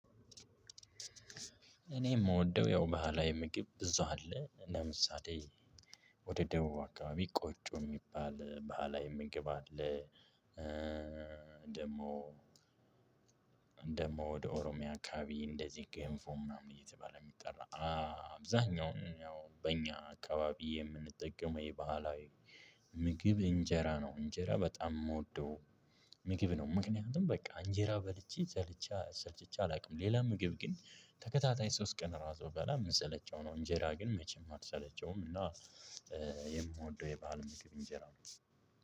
እኔ የምወደው ያው ባህላዊ ምግብ እዛው አለ ለምሳሌ ወደ ደቡብ አካባቢ ቆጮ የሚባል ባህላዊ የምግብ አለ። ደግሞ ደሞ ወደ ኦሮሚያ አካባቢ እንደዚህ ገንፎ ምናምን እየተባለ የሚጠራ አብዛኛው ያው በእኛ አካባቢ የምንጠቀመው የባህላዊ ምግብ እንጀራ ነው። እንጀራ በጣም የምወደው ምግብ ነው። ምክንያቱም በቃ እንጀራ በልቼ ሰልችቼ አላውቅም። ሌላ ምግብ ግን ተከታታይ ሶስት ቀን ራሱ ብበላ የምሰለቸው ነው። እንጀራ ግን መቼም አልሰለቸውም። እና የምወደው የባህል ምግብ እንጀራ ነው።